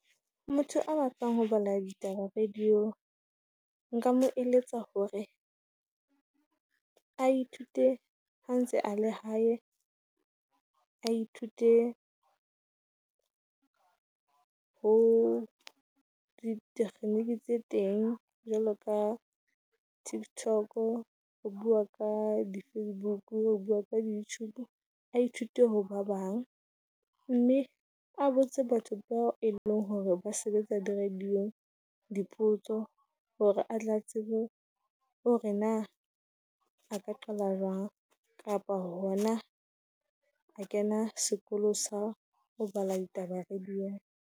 Motho a batlang ho bala ditaba radio, nka mo eletsa hore a ithute ha ntse a le hae, a ithute ho ditekgeniki tse teng jwalo ka tiktok. Ho bua ka di Facebook-u, ho bua ka di Youtube-o, a Ithute ho ba bang, mme a botse batho bao e leng hore ba sebetsa di radio dipotso. Hore a tla tsebe hore na a ka qala jwang? Kapa hona a kena sekolo sa ho bala ditaba radio.